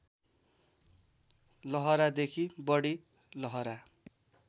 लहरादेखि बढी लहरा